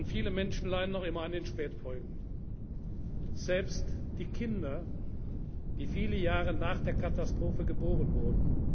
belastet. Viele Menschen leiden noch immer an den Spätfolgen, selbst die Kinder, die viele Jahre nach der Katastrophe geboren